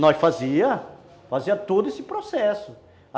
Nós fazíamos, fazíamos todo esse processo.